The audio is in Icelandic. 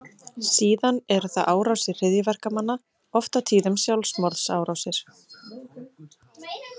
Síðan eru það árásir hryðjuverkamanna, oft á tíðum sjálfsmorðsárásir.